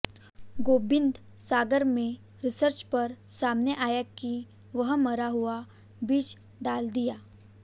गोबिंदसागर में रिसर्च पर सामने आया कि वहां मरा हुआ बीज डाल दिया